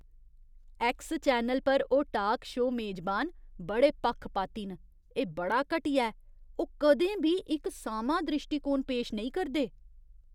X channel पर ओह् talk show मेजबान बड़े पक्खपाती न, एह् बड़ा घटिया ऐ। ओह् कदें बी इक सामां द्रिश्टीकोण पेश नेईं करदे।